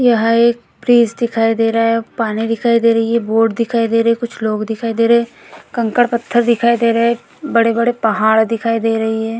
यह एक फ्रिज दिखाई दे रहा है पानी दिखाई दे रही है बोर्ड दिखाई दे रही है कुछ लोग दिखाई दे रही हैं कंकड़-पत्थर दिखाई दे रहे हैं बड़े-बड़े पहाड़ दिखाई दे रही हैं ।